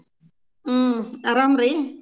ಹ್ಮ್ ಆರಾಮ್ ರೀ?